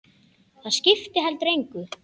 Það skipti heldur engu.